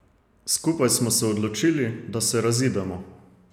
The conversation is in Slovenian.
Skupaj smo se odločili, da se razidemo.